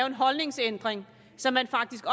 en holdningsændring så man faktisk